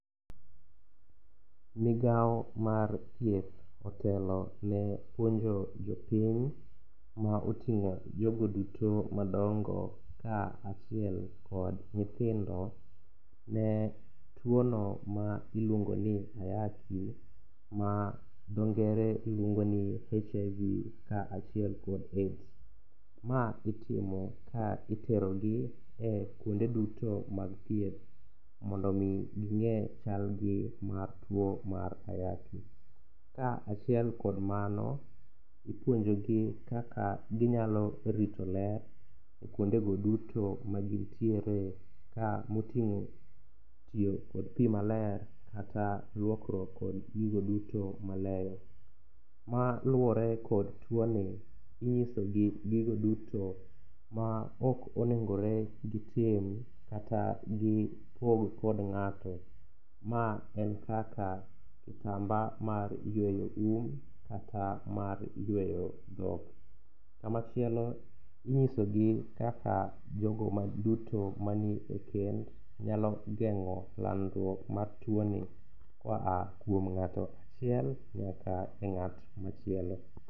Migao mar thieth otelone puonjo jopiny ma oting'o jogo duto madongo ka achiel kod nyithindo. Ne tuono ma iluongoni ayaki ma dhoo ngere luongoni ni HIV ka achiel kod AIDs ma itimo ka iterogi ekuonde duto mag thieth mondo mi gi ng'e chalgi mar tuo mar ayaki. Ka achiel kod mano ipuonjogi kaka ginyalo rito ler e kuondego duto magintiere ka moting'o tiyo kod pii maler kata luokruok kod gigo duto maleyo. Maluore kod tuoni, inyisogi gigo duto maok onengore gitim kata gipog kod ng'ato ma en kaka kitamba mar yweyo um kata mar yweyo dhok. Kama chielo, inyisogi kaka jogo mag duto manie ekeny nyalo geng'o landruok mar tuoni koa kuom ng'ato achiel nyaka eng'at machielo